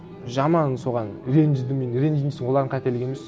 жаман соған ренжідім мен ренжимін десең олардың қателігі емес